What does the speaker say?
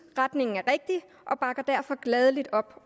at retningen er rigtig og bakker derfor gladeligt op